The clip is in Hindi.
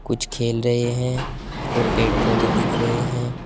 कुछ खेल रहे हैं और पेड़ पौधे दिख रहे हैं।